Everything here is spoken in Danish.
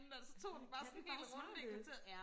hvor er katte bare smarte